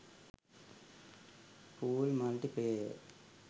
pool multiplayer